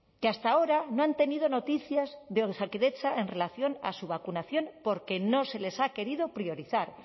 que hasta ahora no han tenido noticias de osakidetza en relación a su vacunación porque no se les ha querido priorizar